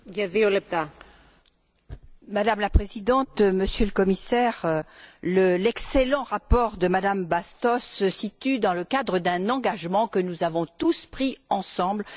Madame la Présidente, Monsieur le Commissaire, l'excellent rapport de Madame Bastos se situe dans le cadre d'un engagement que nous avons pris tous ensemble sur la stratégie Europe